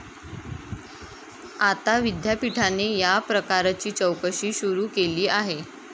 आता विद्यापीठाने या प्रकाराची चौकशी सुरू केली आहे.